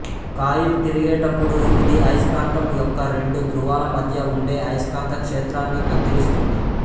coil తిరిగేటప్పుడు ఇది అయస్కాంతం యొక్క రెండు ధ్రువాల మధ్య ఉండే అయస్కాంత క్షేత్రాన్ని కత్తిరిస్తుంది